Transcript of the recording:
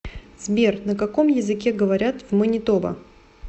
сбер на каком языке говорят в манитоба